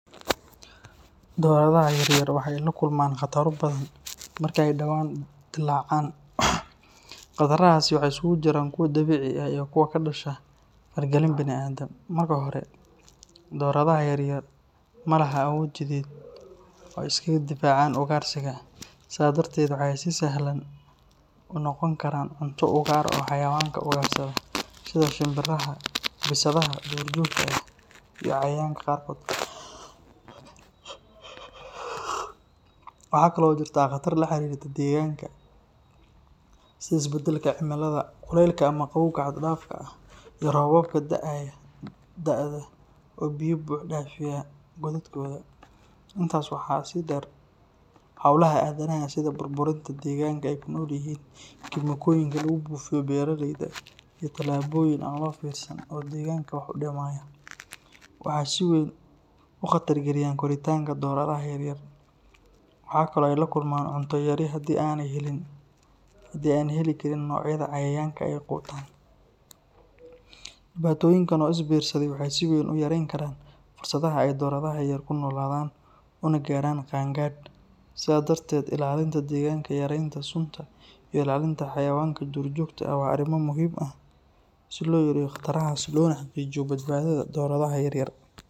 Doradaha yar yar waxee la kulman qataro badan marke dawan dilacan qatarada, marka hore malaha awod ee iskaga difacan cadhowga waxee si sahlan unoqon karaan ugarsi sitha shinbiraha, intas waxaa deer howlaha adamaha sitha bur burida, waxaa si weyn u qadariyan doradha yar yar sas darteed ilalinta deganka ilalinta xayawanka dur joga waa arin muhiim ah si lo yareyo qataraada lona badbadiyo dorada.